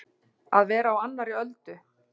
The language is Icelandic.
Að vera á annarri öldu